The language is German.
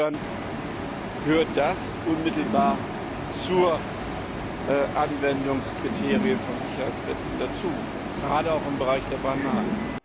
Insofern gehört das unmittelbar zu den Anwendungskriterien von Sicherheitsnetzen dazu gerade auch im Bereich der Bananen.